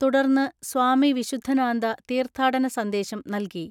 തുടർന്ന് സ്വാമി വിശുദ്ധനാന്ദ തീർത്ഥാടന സന്ദേശം നൽകി.